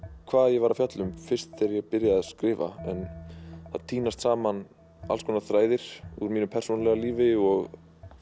hvað ég var að fjalla um fyrst þegar ég byrjaði að skrifa en það tínast saman alls konar þræðir úr mínu persónulega lífi og